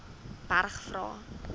berg vra